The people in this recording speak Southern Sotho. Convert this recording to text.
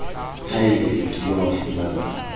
haebe o kile wa fumana